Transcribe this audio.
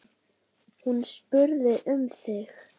Hún spurði um þig.